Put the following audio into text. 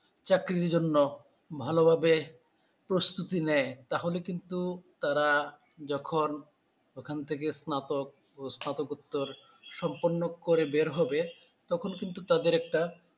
চাকরির জন্য ভালোভাবে প্রস্তুতি নেয় তাহলে কিন্তু তারা যখন ওখান থেকে স্নাতক ও স্নাতকোত্তর সম্মপন্য করে বের হবে তখন কিন্তু তাদের একটা